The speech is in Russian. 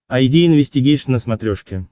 айди инвестигейшн на смотрешке